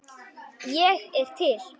Ég er til.